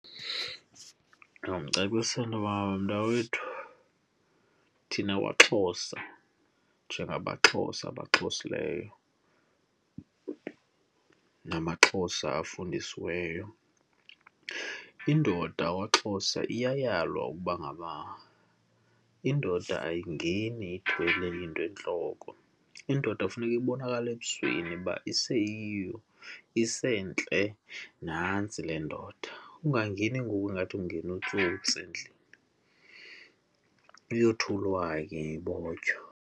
Ndingamcacisela intoba mntakwethu thina kwaXhosa, njengamaXhosa amabaxhosileyo namaXhosa abafundisiweyo, indoda yakwaXhosa iyayalwa ukuba ngaba indoda ayingeni ithwele into entloko. Indoda kufuneka ibonakale ebusweni uba iseyiyo, isentle nantsi le ndoda. Ungangeni ngoku ingathi kungena utsotsi endlini, uyothulwa ke ibotyo.